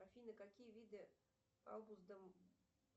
афина какие виды